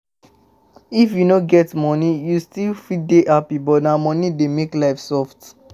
If you no get money, you still fit dey happy but na money dey make life soft